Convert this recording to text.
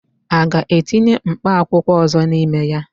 A ga-etinye mkpa akwụkwọ ọzọ n'ime ya?